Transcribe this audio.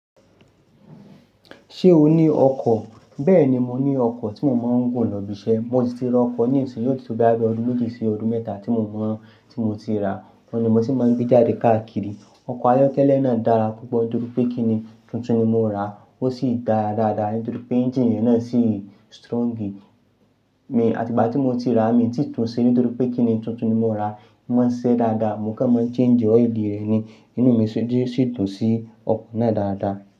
Ṣé o ní ọkọ̀? Bẹ́ẹ̀ni, mo ní ọkọ̀ tí mo máa ń gùn lọ ibi iṣẹ́. Mo sì ti ra ọkọ̀ nii sin, yó ti tó bo ya bí ọdún méjì sí ọdún mẹ́ta tí mo mọ̀ tí mo ti rà á. Ó ni mo ti máa ń gbé jáde káàkiri. Ọkọ̀ ayọ́kẹ́lẹ́ náà dára púpọ̀ nítorí pé kíni tuntun ni mo ra á. Ó sì dára dáadáa nítorí pé ẹ́ńgine rẹ̀ náà sì strongi. Mi, àti ìgbà tí mo ti rà á, mi ti tún ṣe nítorí pé kíni tuntun ni mo ra á. Ó máa ń ṣise dáadáa, mo kò máa ń change ọ́ìlì rẹ̀ ni. Inú mi sì dún sí ọkọ̀ náà dáadáa.